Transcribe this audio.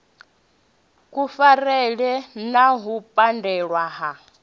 kufarele na u pandelwa ha